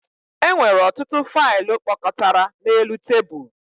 E nwere ọtụtụ faịlụ kpọkọtara n'elu tebụl